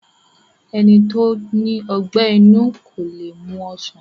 Ẹni tó ní ọgbẹ́ inú kó le mu ọsàn